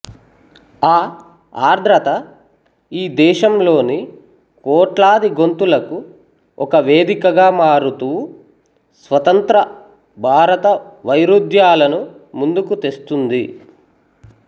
ఆ ఆర్ద్రత ఈ దేశంలోని కోట్లాది గొంతులకు ఒక వేదికగా మారుతూ స్వతంత్ర భారత వైరుధ్యాలను ముందుకు తెస్తుంది